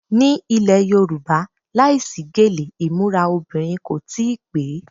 Ni ilẹ̀ Yorùbá, láìsí gèlè imura obìnrin kò tí ì pè é.